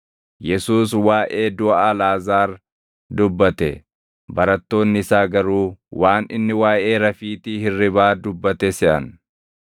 Yesuus waaʼee duʼa Alʼaazaar dubbate; barattoonni isaa garuu waan inni waaʼee rafiitii hirribaa dubbate seʼan.